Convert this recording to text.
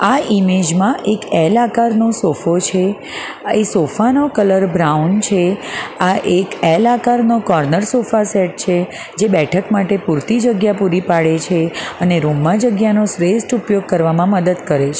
આ ઈમેજ માં એક એલ આકારનો સોફો છે એ સોફા નો કલર બ્રાઉન છે આ એક એલ આકારનો કોર્નર સોફાસેટ છે જે બેઠક માટે પૂરતી જગ્યા પૂરી પાડે છે અને રૂમ માં જગ્યાનો શ્રેષ્ઠ ઉપયોગ કરવામાં મદદ કરે છે.